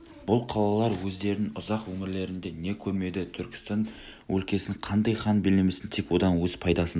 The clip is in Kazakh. бұл қалалар өздерінің ұзақ өмірлерінде не көрмеді түркістан өлкесін қандай хан билемесін тек одан өз пайдасын